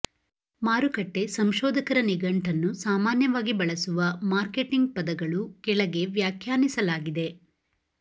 ಮಾರುಕಟ್ಟೆ ಸಂಶೋಧಕರ ನಿಘಂಟನ್ನು ಸಾಮಾನ್ಯವಾಗಿ ಬಳಸುವ ಮಾರ್ಕೆಟಿಂಗ್ ಪದಗಳು ಕೆಳಗೆ ವ್ಯಾಖ್ಯಾನಿಸಲಾಗಿದೆ